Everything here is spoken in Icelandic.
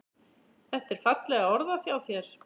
Þetta er fallega orðað hjá mér.